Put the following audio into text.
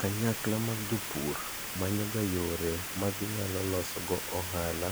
Kanyakla mag jopur manyoga yore ma ginyalo losogo ohala